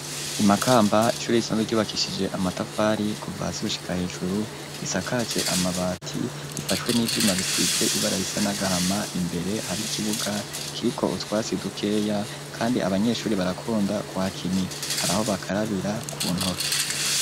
I Makamba, ishuri risanzwe ryubakishije amatafari kuva hasi gushika hejuru, risakaje amabati, rifashwe n'ivyuma bisize ibara risa n'agahama, imbere hari ikibuga kiriko utwasi dukeya, kandi abanyeshuri barakunda kuhakinira, haraho bakarabira ku ntoki.